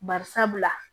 Bari sabula